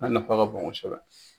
A nafa ka bon kosɛbɛ.